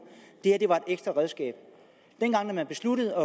det her var et ekstra redskab dengang man besluttede